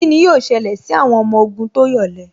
Kíni yóò ṣẹlẹ̀ sí àwọn ọmọ ogun tó yọ̀lẹ